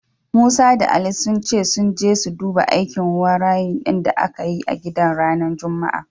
Musa da Ali sun ce sun je su duba aikin wayarin din da aka yi a gidan ranar Juma'a.